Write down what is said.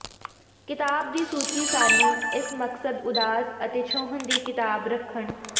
ਿਕਤਾਬ ਦੀ ਸੂਚੀ ਸਾਨੂੰ ਇਸ ਮਕਸਦ ਉਦਾਸ ਅਤੇ ਛੋਹਣ ਦੀ ਕਿਤਾਬ ਰੱਖਣ